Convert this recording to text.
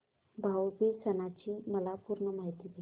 भाऊ बीज सणाची मला पूर्ण माहिती दे